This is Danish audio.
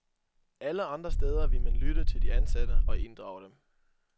Alle andre steder ville man lytte til de ansatte og inddrage dem.